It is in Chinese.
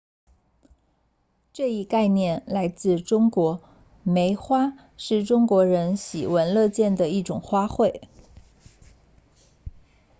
这一概念来自中国梅花是中国人喜闻乐见的一种花卉